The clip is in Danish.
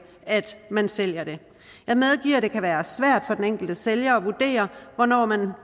at man sælger det jeg medgiver at det kan være svært for den enkelte sælger at vurdere hvornår man